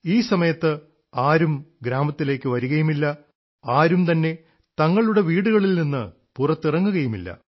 ഈ സമയത്ത് ആരും ഗ്രാമത്തിലേക്കു വരുകയുമില്ല ആരും തന്നെ തങ്ങളുടെ വീടുകളിൽ നിന്ന് പുറത്തിറങ്ങുകയുമില്ല